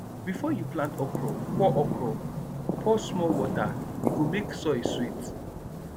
before you plant okra pour okra pour small water e go make soil sweet